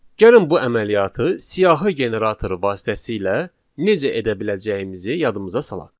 Gəlin bu əməliyyatı siyahı generatoru vasitəsilə necə edə biləcəyimizi yadımıza salaq.